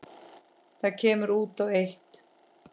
Það kemur út á eitt.